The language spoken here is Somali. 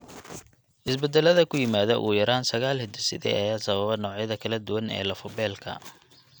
Isbeddellada ku yimaadda ugu yaraan sagaal hidde-side ayaa sababa noocyada kala duwan ee lafo-beelka.